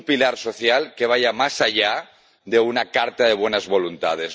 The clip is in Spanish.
Un pilar social que vaya más allá de una carta de buenas voluntades.